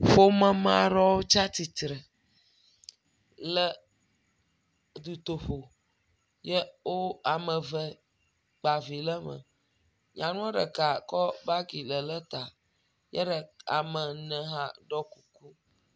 Ƒome me aɖewo tsia tsitre le dutoƒo, ye wo ame eve kpa vi ɖe me. Nyanua ɖeka kɔ gabi le ɖe ta. Ye ɖe.. ame ene ha ɖɔe kuku.